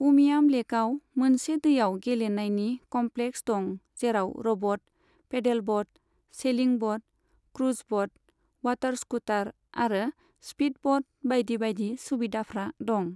उमियाम लेकआव मोनसे दैआव गेलेनायनि कम्प्लेक्स दं जेराव row boat, pedal boat, sailing boat, cruise boat, water scooter आरो स्पिड बट बायदि बायदि सुबिदाफ्रा दं।